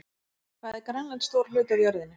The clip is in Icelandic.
Hvað er Grænland stór hluti af jörðinni?